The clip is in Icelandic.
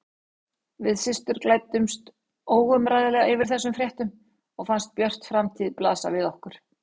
Við systur glöddumst óumræðilega yfir þessum fréttum og fannst björt framtíð blasa við okkur.